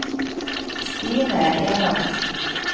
Stine Enoksen